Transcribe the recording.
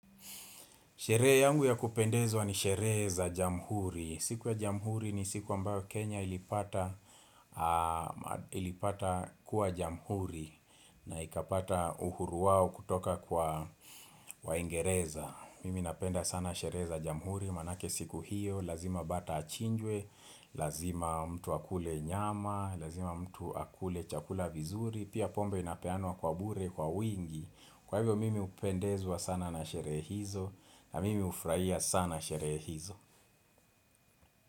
Sherehe yangu ya kupendezwa ni sherehe za jamhuri. Siku ya jamhuri ni siku ambayo Kenya ilipata kuwa jamhuri na ikapata uhuru wao kutoka kwa waingereza. Mimi napenda sana sherehe za jamhuri maanake siku hiyo, lazima bata achinjwe, lazima mtu akule nyama, lazima mtu akule chakula vizuri, pia pombe inapeanwa kwa bure, kwa wingi. Kwa hivyo mimi hupendezwa sana na sherehe hizo na mimi hufurahia sana sherehe hizo.